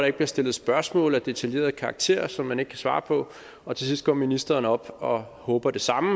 ikke bliver stillet spørgsmål af detaljeret karakter som man ikke kan svare på og til sidst går ministeren op og håber det samme